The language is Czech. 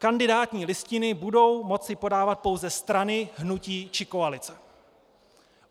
Kandidátní listiny budou moci podávat pouze strany, hnutí či koalice.